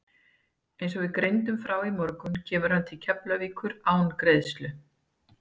Eins og við greindum frá í morgun kemur hann til Keflavíkur án greiðslu.